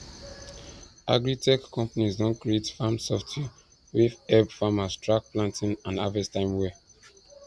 agritech companies don create farm software wey help farmers track planting and harvest time well